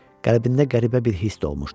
Qəlbində qəribə bir hiss dolmuşdu.